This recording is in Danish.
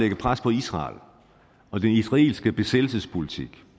lægge pres på israel og den israelske bosættelsespolitik